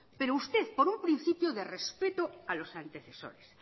pero usted por un principio de respeto a los antecesores